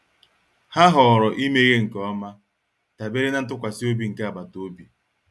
Ha họọrọ imeghe nke ọma, dabere na ntụkwasị obi nke agbata obi.